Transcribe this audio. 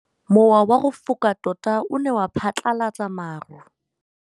Mowa o wa go foka tota o ne wa phatlalatsa maru.